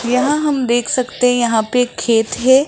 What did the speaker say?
यहां हम देख सकते हैं यहां पे खेत है।